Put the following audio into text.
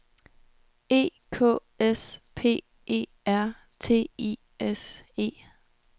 E K S P E R T I S E